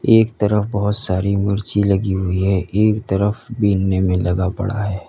एक तरफ बहोत सारी मिर्ची लगी हुई हैं। एक तरफ बीनने में लगा पडा है।